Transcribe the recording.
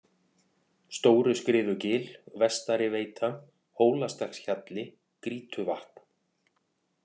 Stóruskriðugil, Vestari-Veita, Hólastekkshjalli, Grýtuvatn